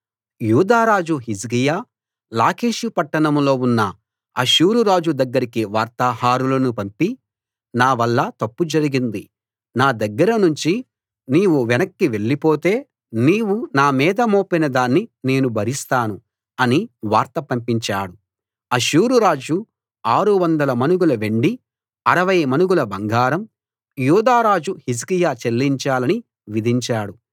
యూదారాజు హిజ్కియా లాకీషు పట్టణంలో ఉన్న అష్షూరు రాజు దగ్గరికి వార్తాహరులను పంపి నావల్ల తప్పు జరిగింది నా దగ్గర నుంచి నీవు వెనక్కి వెళ్ళిపోతే నీవు నా మీద మోపిన దాన్ని నేను భరిస్తాను అని వార్త పంపించాడు అష్షూరురాజు 600 మణుగుల వెండి 60 మణుగుల బంగారం యూదా రాజు హిజ్కియా చెల్లించాలని విధించాడు